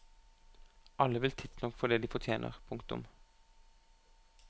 Alle vil tidsnok få det de fortjener. punktum